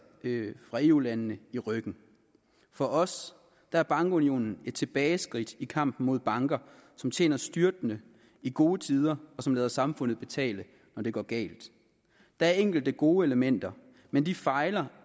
fra eu landene i ryggen for os er bankunionen et tilbageskridt i kampen mod banker som tjener styrtende i gode tider og som lader samfundet betale når det går galt der er enkelte gode elementer men de fejler